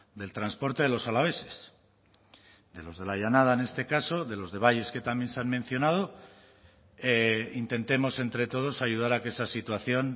del transporte de los alaveses de los de la llanada en este caso de los de valles que también se han mencionado intentemos entre todos ayudar a que esa situación